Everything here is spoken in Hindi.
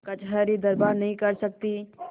कचहरीदरबार नहीं कर सकती